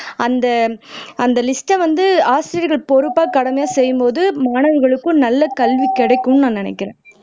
அந்த லிஸ்ட்டை வந்து ஆசிரியர்கள் பொறுப்பா கடமையா செய்யும்போது மாணவர்களுக்கும் நல்ல கல்வி கிடைக்கும்னு நான் நினைக்கிறேன்